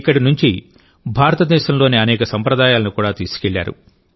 ఇక్కడి నుంచి భారత దేశంలోని అనేక సంప్రదాయాలను కూడా తీసుకెళ్లారు